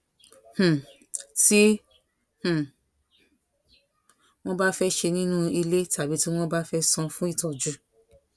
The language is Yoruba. um ti um won ba fe se ninu ile tàbí tí wón bá fe san fún ìtójú